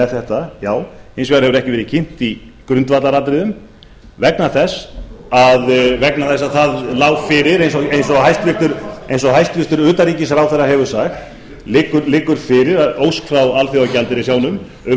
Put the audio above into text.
þetta já hins vegar hefur ekki verið kynnt í grundvallaratriðum vegna þess að það lá fyrir eins og hæstvirtur utanríkisráðherra hefur sagt liggur fyrir ósk frá alþjóðagjaldeyrissjóðnum um